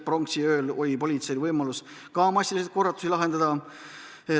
Pronksiööl oli politseil võimekus massilisi korratusi lahendada.